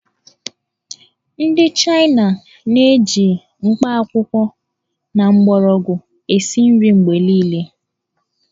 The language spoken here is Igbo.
Ndị China na-eji mkpakwụkwọ na mgbọrọgwụ esi nri mgbe niile